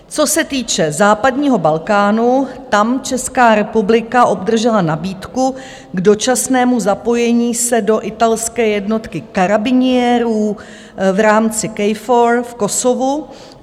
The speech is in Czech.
Co se týče západního Balkánu, tam Česká republika obdržela nabídku k dočasnému zapojení se do italské jednotky karabiniérů v rámci KFOR v Kosovu.